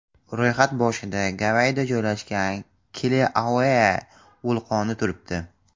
Ro‘yxat boshida Gavayida joylashgan Kilauea vulqoni turibdi.